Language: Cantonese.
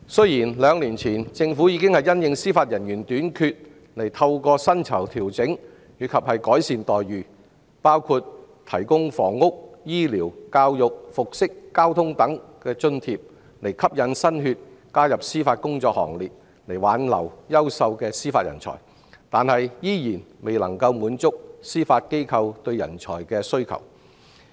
有見及此，政府在兩年前已調整司法人員薪酬及改善待遇，包括提供房屋、醫療、教育、服飾和交通等津貼，以吸引新血加入司法工作行列及挽留優秀的司法人才，但依然未能滿足司法機構的人才需求。